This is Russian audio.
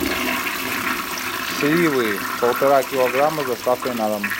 сливы полтора килограмма с доставкой на дом